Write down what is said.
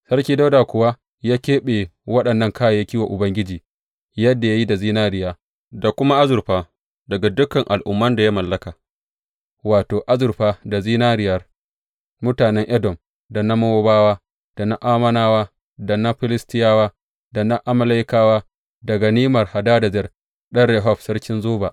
Sarki Dawuda kuwa ya keɓe waɗannan kayayyaki wa Ubangiji, yadda ya yi da zinariya, da kuma azurfa daga dukan al’umman da ya mallaka, wato, azurfa da zinariyan mutanen Edom, da na Mowabawa, da na Ammonawa, da na Filistiyawa, da na Amalekawa, da ganimar Hadadezer ɗan Rehob, sarkin Zoba.